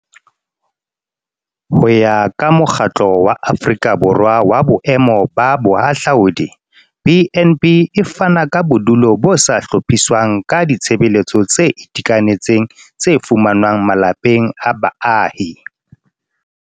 Ho ya ka Mokgatlo wa Aforika Borwa wa Boemo ba Bohahlaudi, BnB e fana ka bodulo bo sa hlophiswang ka ditshebeletso tse itekanetseng tse fumanwang malapeng a baahi.